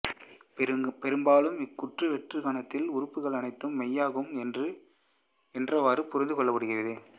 பெரும்பாலும் இக்கூற்று வெற்றுக் கணத்தின் உறுப்புகளுக்கு அனைத்தும் மெய்யாகும் என்றவாறு புரிந்து கொள்ளப்படுகிறது